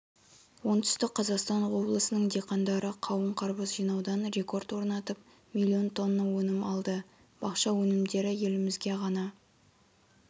оңтүстік қазақстан облысының диқандары қауын-қарбыз жинаудан рекорд орнатып млн тонна өнім алды бақша өнімдері елімізге ғана